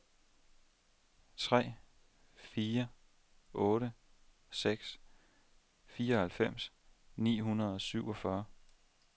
tre fire otte seks fireoghalvfems ni hundrede og syvogfyrre